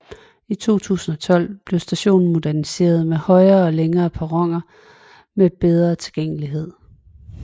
I 2012 blev stationen moderniseret med højere og længere perroner med bedre tilgængelighed